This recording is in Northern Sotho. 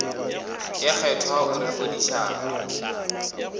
ye kgethwa o re fodišang